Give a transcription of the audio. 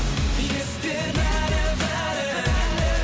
есте бәрі бәрі